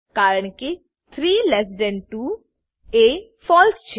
કારણકે 32એ ફળસે